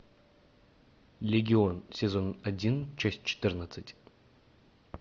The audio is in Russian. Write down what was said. легион сезон один часть четырнадцать